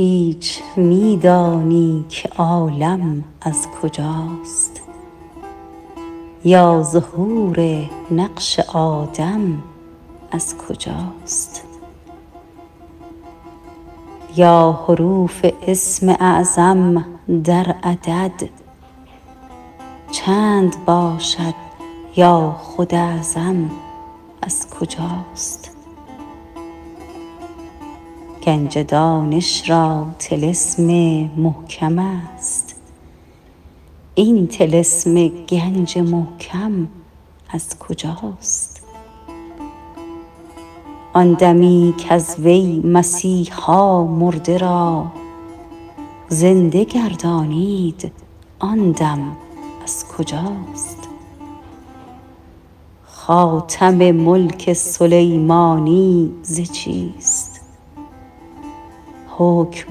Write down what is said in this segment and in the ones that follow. هیچ می دانی که عالم از کجاست یا ظهور نقش آدم از کجاست یا حروف اسم اعظم در عدد چند باشد یا خود اعظم از کجاست گنج دانش را طلسم محکم است این طلسم گنج محکم از کجاست آن دمی کز وی مسیحا مرده را زنده گردانید آن دم از کجاست خاتم ملک سلیمانی ز چیست حکم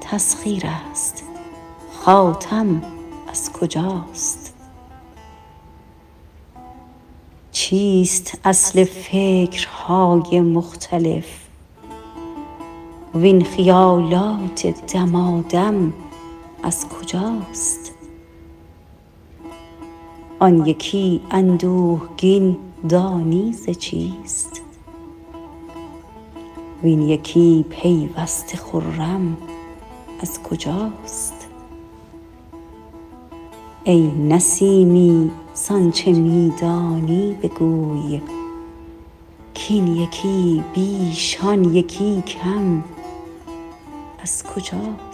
تسخیر است خاتم از کجاست چیست اصل فکرهای مختلف وین خیالات دمادم از کجاست آن یکی اندوهگین دانی ز چیست وین یکی پیوسته خرم از کجاست ای نسیمی ز آنچه میدانی بگوی کاین یکی بیش آن یکی کم از کجاست